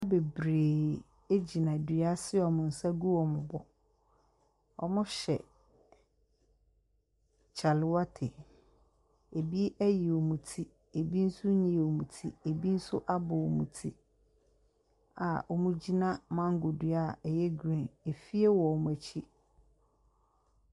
Nipa bebree agyina dua ase a ɔmu nsa egu ɔmu bu. Ɔmuhyɛ kyalewɔte. Ebi ɛyi ɔmoti, ebi nso iyiiiɔmoti. Ebi nso abɔ ɔmu nti a ɔmugyina mango dua a ɛyɛ grin. Efie wɔ ɔɔmo ekyi.